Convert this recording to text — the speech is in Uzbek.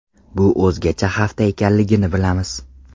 Bu o‘zgacha hafta ekanligini bilamiz.